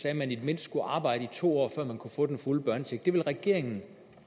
at man i det mindste skulle arbejde her i to år før man kunne få den fulde børnecheck det vil regeringen